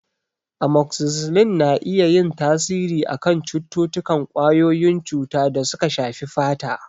Amokzisilin na iya yin tasiri a kan cututtukan ƙwayoyin cuta da suka shafi fata.